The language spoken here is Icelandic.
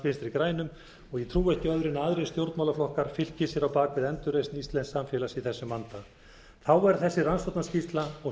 vinstri grænum og ég trúi ekki öðru en aðrir stjórnmálaflokkar fylki sér á bak við endurreisn íslensks samfélags í þessum vanda þá er þessi rannsóknarskýrsla og